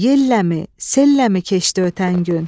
Yelləmi, selləmi keçdi ötən gün?